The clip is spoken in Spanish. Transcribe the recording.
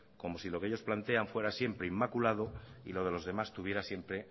como si que ellos plantean fuera siempre inmaculado y lo de los demás tuviera siempre